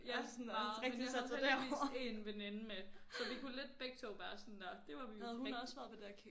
Ja meget men jeg havde heldigvis 1 veninde med så vi kunne lidt begge 2 bare sådan nåh det var vi